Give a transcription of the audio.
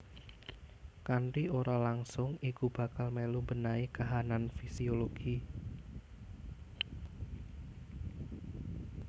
Kanthi ora langsung iku bakal melu mbenahi kahanan fisiologi